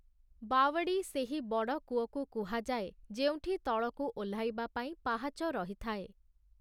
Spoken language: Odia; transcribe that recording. ବାୱଡ଼ି ସେହି ବଡ଼ କୂଅକୁ କୁହାଯାଏ ଯେଉଁଠି ତଳକୁ ଓହ୍ଲାଇବା ପାଇଁ ପାହାଚ ରହିଥାଏ ।